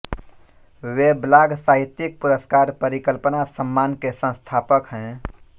वे blog साहित्यिक पुरस्कार परिकल्पना सम्मान के संस्थापक हैं